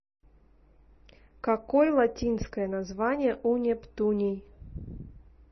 какой латинское название у нептуний